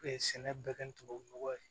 sɛnɛ bɛ kɛ tubabu nɔgɔ ye